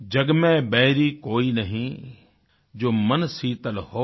जग में बैरी कोई नहीं जो मन शीतल होय